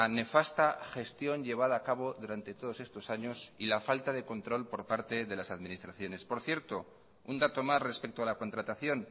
nefasta gestión llevada a cabo durante todos estos años y la falta de control por parte de las administraciones por cierto un dato más respecto a la contratación